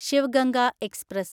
Shiv Ganga express